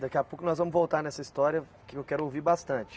Daqui a pouco nós vamos voltar nessa história que eu quero ouvir bastante.